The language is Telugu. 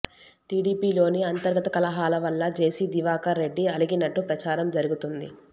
టీడీపీలోని అంతర్గత కలహాల వల్ల జేసీ దివాకర్ రెడ్డి అలిగినట్టు ప్రచారం జరుగుతోంది